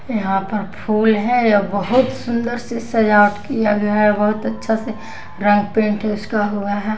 यहाँ पर फूल है और बहुत सुंदर से सजावट किया गया है बहुत अच्छा से रंग पेंट उसका हुआ है।